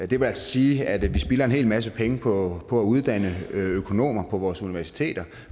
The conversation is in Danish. det vil altså sige at vi spilder en hel masse penge på at uddanne økonomer på vores universiteter